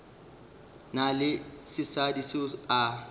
na le sesadi seo a